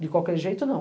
De qualquer jeito, não.